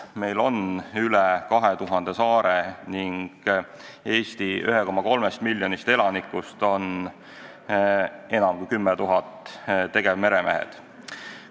Meil on üle 2000 saare ning Eesti 1,3 miljonist elanikust on enam kui 10 000 tegevmeremehed.